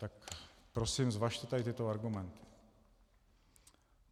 Tak prosím, zvažte tady tyto argumenty.